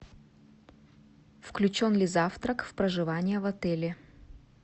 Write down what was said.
включен ли завтрак в проживание в отеле